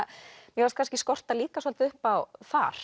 mér fannst kannski skorta líka svolítið upp á þar